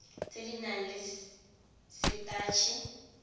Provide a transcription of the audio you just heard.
tse di nang le setatshe